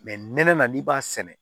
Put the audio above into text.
nɛnɛ n'i b'a sɛnɛ